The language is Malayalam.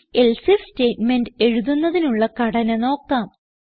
IfElse ഐഎഫ് സ്റ്റേറ്റ്മെന്റ് എഴുതുന്നതിനുള്ള ഘടന നോക്കാം